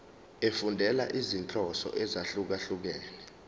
efundela izinhloso ezahlukehlukene